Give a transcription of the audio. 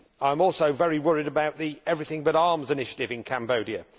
I am also very worried about the Everything But Arms initiative in Cambodia.